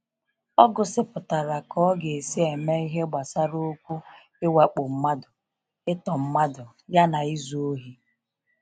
Ọ gụsịpụtara ka a ga esi eme ihe gbasara okwu ịwakpo mmadụ, ịtọ mmadụ ya izu ohi.